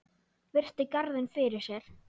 Virti garðinn fyrir sér.